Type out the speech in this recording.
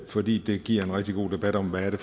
fordi det giver en rigtig god debat om hvad det